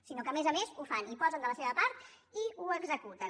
sinó que a més a més ho fan hi posen de la seva part i ho executen